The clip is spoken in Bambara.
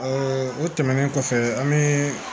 o tɛmɛnen kɔfɛ an bɛ